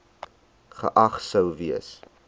geag sou gewees